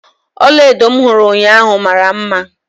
Ọlaedo m hụrụ ụnyaahụ mara mma.